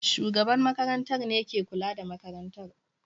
shugaban makarantar ne ke kula da makarantar